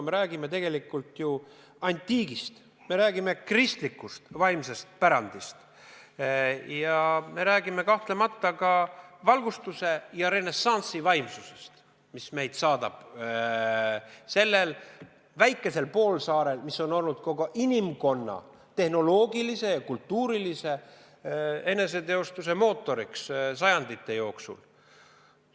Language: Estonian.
Me räägime tegelikult ju antiigist, me räägime kristlikust vaimsest pärandist ja me räägime kahtlemata ka valgustusaja ja renessansi vaimsusest, mis meid saadab sellel väikesel poolsaarel, mis on olnud kogu inimkonna tehnoloogilise ja kultuurilise eneseteostuse mootoriks sajandite jooksul.